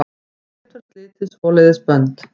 Ekkert fær slitið svoleiðis bönd.